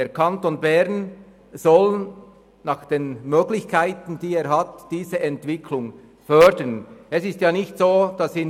Der Kanton Bern soll nach seinen Möglichkeiten diese Entwicklungsrichtung fördern.